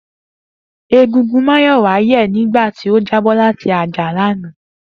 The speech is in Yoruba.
Egungun èjìká Máyọ̀wá yẹ̀ nígbà tó jábọ́ láti orí àjà lánàá